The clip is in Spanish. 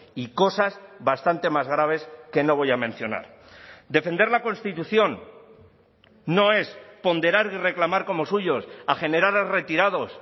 y cosas bastante más graves que no voy a mencionar defender la constitución no es ponderar y reclamar como suyos a generales retirados